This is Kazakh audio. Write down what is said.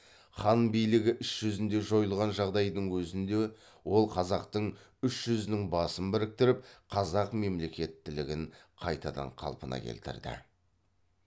хан билігі іс жүзінде жойылған жағдайдың өзінде ол қазақтың үш жүзінің басын біріктіріп қазақ мемлекеттілігін қайтадан қалпына келтірді